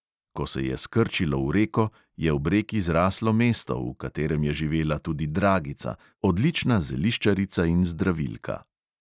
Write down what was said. Ko se je skrčilo v reko, je ob reki zraslo mesto, v katerem je živela tudi dragica, odlična zeliščarica in zdravilka.